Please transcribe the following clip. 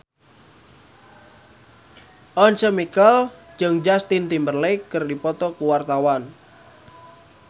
Once Mekel jeung Justin Timberlake keur dipoto ku wartawan